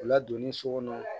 O ladonni so kɔnɔ